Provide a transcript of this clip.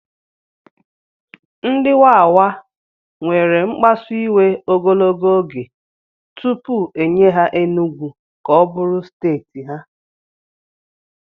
Ndị Wawa were mkpasu iwe ogologo oge tupu e nye ha Enugwu ka ọ bụrụ steeti ha